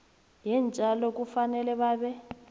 yeentjalo kufanele babe